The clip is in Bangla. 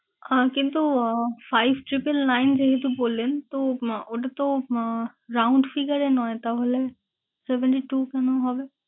আহ কিন্তু আহ five triple nine যেহেতু বললেন, তো আহ ওটাতো আহ round figure এ নয় তাহলে seventy two কেনো হবে?